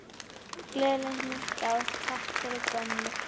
Gleðilegt nýtt ár- Takk fyrir gömlu!